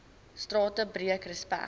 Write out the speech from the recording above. strate breek respek